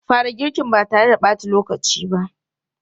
Fara girkin ba tare da ɓata lokaci ba!